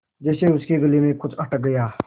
जैसे उसके गले में कुछ अटक गया